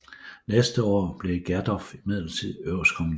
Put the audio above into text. Næste år blev Gersdorff midlertidig øverstkommanderende